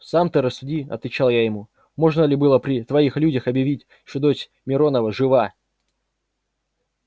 сам ты рассуди отвечал я ему можно ли было при твоих людях объявить что дочь миронова жива